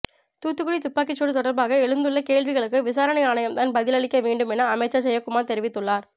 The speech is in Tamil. தூத்துக்குடி துப்பாக்கிச் சூடு தொடர்பாக எழுந்துள்ள கேள்விகளுக்கு விசாரணை ஆணையம் தான் பதிலளிக்க வேண்டும் என அமைச்சர் ஜெயக்குமார் தெரிவித்துள்ளார்